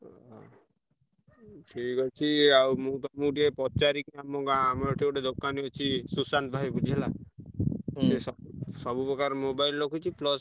ଓହୋ! ଠିକ୍ ଅଛି ଆଉ ମୁଁ ତମୁକୁ ଟିକେ ପଚାରି ଆମ ଗାଁ ଆମର ଏଠି ଗୋଟେ ଦୋକାନ ଅଛି ସୁଶାନ୍ତ ଭାଇ ବୋଲି ହେଲା। ସୁଶା ସବୁ ପ୍ରକାର mobile ରଖୁଛି plus ।